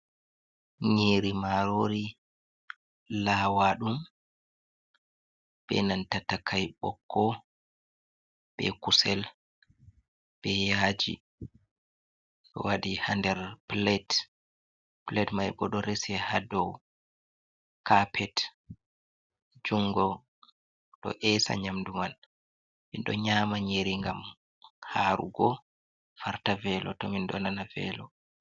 Nyeri marori lawaɗum be nanta takai bokko. Be kusel, be yaji. Ɗo waɗi ha nɗer pilet. pilet mai bo ɗo resi ha ɗow kapet. Jungo ɗo esa nyamɗu man. Min ɗo nyama nyeri ngam harugo farta velo to min ɗo nana velo.